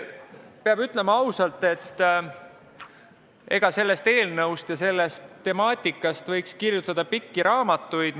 Peab ausalt ütlema, et sellest eelnõust ja sellest temaatikast võiks kirjutada pakse raamatuid.